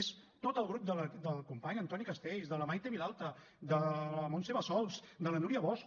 és tot el grup del company antoni castells de la maite vilalta de la montse bassols de la núria bosch